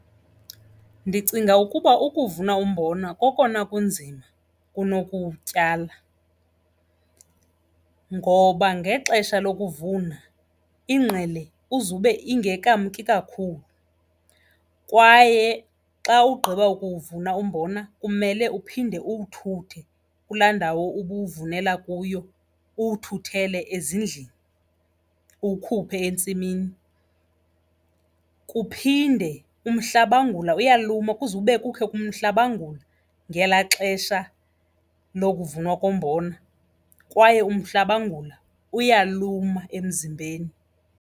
Ndicinga ukuba ukuvuna umbona kokona kunzima kunokuwutyala ngoba ngexesha lokuvuna ingqele uzube ingekamki kakhulu kwaye xa ugqiba kuwuvuna umbona kumele uphinde uwuthuthe kulaa ndawo ubuwuvumela kuyo, uwuthuthele ezindlini uwukhuphe entsimini. Kuphinde umhlabangula uyaluma, kuzube kukho umhlabangula ngelaa xesha lokuvunwa kombona kwaye umhlabangula uyaluma emzimbeni.